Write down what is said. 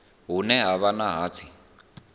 hune ha vha na hatsi